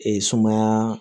Ee sumaya